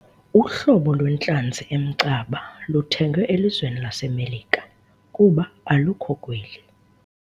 Uhlobo lwentlanzi emcaba luthengwe elizweni laseMelika kuba alukho kweli.